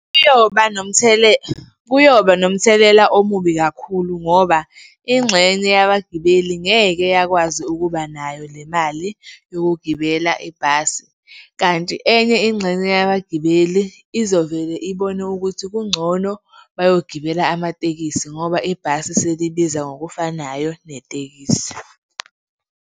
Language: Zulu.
Kuyoba kuyoba nomthelela omubi kakhulu ngoba ingxenye yabagibeli ngeke yakwazi ukuba nayo le mali yokugibela ibhasi kanti enye ingxenye yabagibeli izovele ibone ukuthi kungcono bayogibela amatekisi ngoba ibhasi selibiza ngokufanayo netekisi.